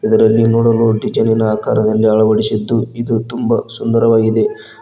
ಇದರಲ್ಲಿ ನೋಡಲು ಡಿಸೈನಿನ ಆಕಾರದಲ್ಲಿ ಅಳವಡಿಸಿದ್ದು ಇದು ತುಂಬ ಸುಂದರವಾಗಿದೆ.